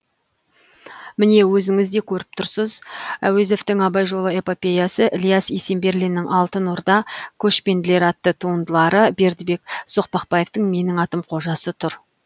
міне өзіңіз де көріп тұрсыз әуезовтің абай жолы эпопеясы ілияс есенберлиннің алтын орда көшпенділер атты туындылары бердібек соқпақбаевтың менің атым қожасы тұр